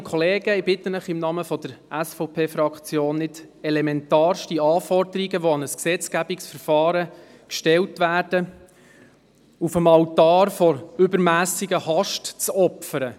Ich bitte Sie im Namen der SVP-Fraktion, elementarste Anforderungen, die an ein Gesetzgebungsverfahren gestellt werden, nicht auf dem Altar einer übermässigen Hast zu opfern.